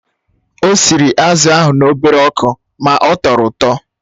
Ọ sịrị azụ̀ ahụ n'obere ọkụ ma ọ tọrọ ụtọ